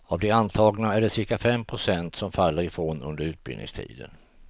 Av de antagna är det cirka fem procent som faller ifrån under utbildningstiden.